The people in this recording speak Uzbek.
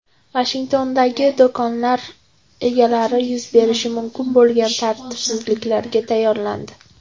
Vashingtondagi do‘konlar egalari yuz berishi mumkin bo‘lgan tartibsizliklarga tayyorlandi .